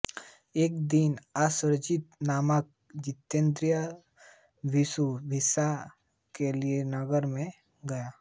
एक दिन अश्वजित नामक जितेन्द्रिय भिक्षु भिक्षा के लिए नगर में गया